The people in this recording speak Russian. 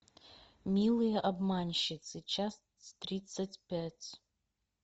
милые обманщицы часть тридцать пять